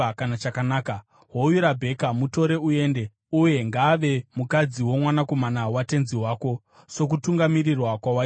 Hoyu Rabheka; mutore uende, uye ngaave mukadzi womwanakomana watenzi wako, sokutungamirirwa kwawaitwa naJehovha.”